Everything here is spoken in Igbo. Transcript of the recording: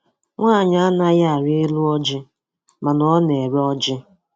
Nwaanyi anaghị arị elu ọjị mana Ọ na-ere ọjị.